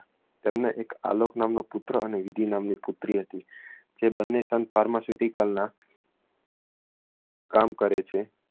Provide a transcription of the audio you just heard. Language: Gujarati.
તેમને એક આલોક નામનો પુત્ર અને વિધી નામની એક પુત્રી હતી જે બંને sun pharmaceutical ના કામ કરે છે